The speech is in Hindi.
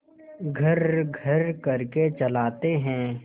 घर्रघर्र करके चलाते हैं